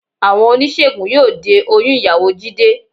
Àwọn oníṣègùn yóò de oyún ìyàwó Jídé